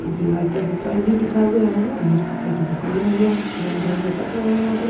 दीवार पर ऊपर भी लिखा हुआ है अंदर कपड़े की दुकान है यहां रंग रंगे कपड़े हैं यहां पे--